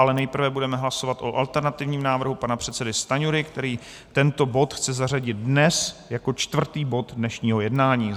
Ale nejprve budeme hlasovat o alternativním návrhu pana předsedy Stanjury, který tento bod chce zařadit dnes jako čtvrtý bod dnešního jednání.